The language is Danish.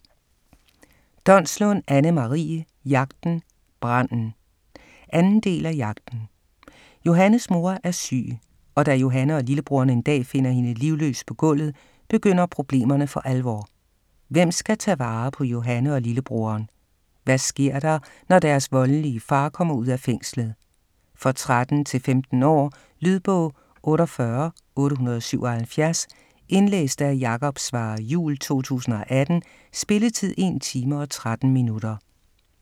Donslund, Anne-Marie: Jagten - branden 2. del af Jagten. Johannes mor er syg, og da Johanne og lillebroren en dag finder hende livløs på gulvet, begynder problemerne for alvor. Hvem skal tage vare på Johanne og lillebroren? Hvad sker der, når deres voldelig far kommer ud af fængslet? For 13-15 år. Lydbog 48877 Indlæst af Jakob Svarre Juhl, 2018. Spilletid: 1 time, 13 minutter.